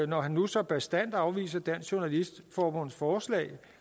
når han nu så bastant afviser dansk journalistforbunds forslag